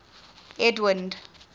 edwind